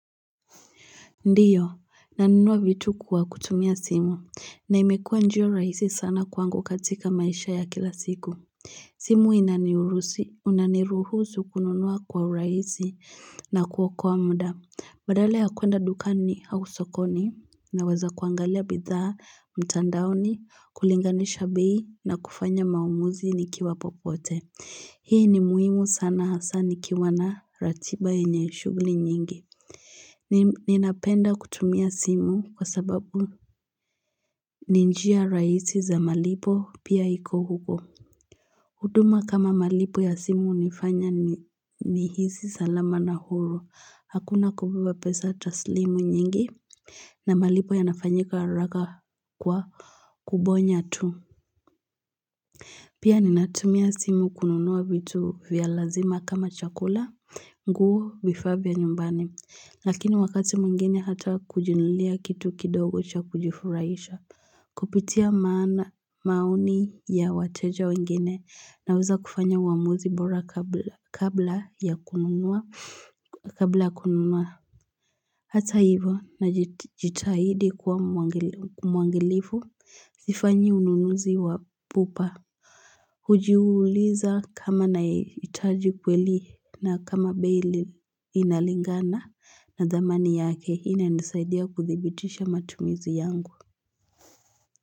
Ndio nanunuwa vitu kuwa kutumia simu na imekua njia rahisi sana kwangu katika maisha ya kila siku simu inaniuruhusu unaniruhusu kununuwa kwa urahisi na kuokoa muda badala ya kwenda dukani au sokoni naweza kuangalia bidhaa mitandaoni kulinganisha bei na kufanya maamuzi nikiwa popote hii ni muhimu sana hasa ni kiwa na ratiba yenye shughuli nyingi Ninapenda kutumia simu kwa sababu ni njia rahisi za malipo pia iko huko huduma kama malipo ya simu hunifanya ni hisi salama na huru, hakuna kubeba pesa taslimu nyingi na malipo yanafanyika haraka kwa kubonya tu Pia ninatumia simu kununua vitu vya lazima kama chakula, nguo vifaa via nyumbani, lakini wakati mwengine hata kujinunulia kitu kidogo cha kujufuraisha, kupitia maana maoni ya wateja wengine, naweza kufanya wamuzi bora kabla ya kununua, kabla kununua. Hata hivyo najitahidi kau mwangalifu sifanyi ununuzi wa pupa hujiuliza kama nahitaji kweli na kama bei ile inalingana na dhamani yake inanisaidia kuthibitisha matumizi yangu.